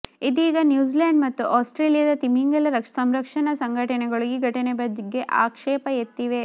ಇದೀಗ ನ್ಯೂಜಿಲೆಂಡ್ ಮತ್ತು ಆಸ್ಟ್ರೇಲಿಯಾದ ತಿಮಿಂಗಲ ಸಂರಕ್ಷಣಾ ಸಂಘಟನೆಗಳು ಈ ಘಟನೆಯ ಬಗ್ಗೆ ಆಕ್ಷೇಪ ಎತ್ತಿವೆ